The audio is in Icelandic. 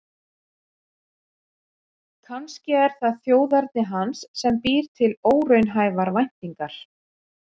Kannski er það þjóðerni hans sem býr til óraunhæfar væntingar.